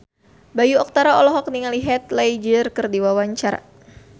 Bayu Octara olohok ningali Heath Ledger keur diwawancara